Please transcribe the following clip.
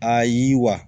A ye wa